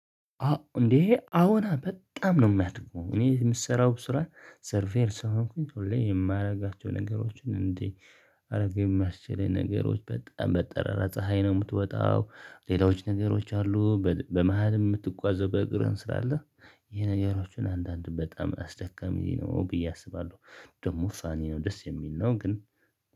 እንዴ አዎና በጣም ነው። የማትቆም እኔ የምሰራው ስራ ሰርቬር ስለሆንሁኝ ሁሌ የማደርጋቸው ነገሮችን እንዴ አድርገህ የማስችለኝ ነገሮች በጣም በጠራራ ፀሀይ ነው የምትወጣው። ሌሎች ነገሮች አሉ በመሃል የምትጓዘው በእግርህን ስላለ። ይሄ ነገሮችን አንዳንድ በጣም አስደካሚ ነው ብዬ አስባለሁ። ደግሞ ሳኒ ነው ደስ የሚል ነው። ግን